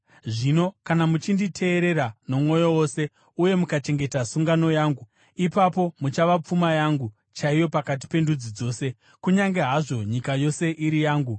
Zvino kana muchinditeerera nomwoyo wose uye mukachengeta sungano yangu, ipapo muchava pfuma yangu chaiyo pakati pendudzi dzose. Kunyange hazvo nyika yose iri yangu,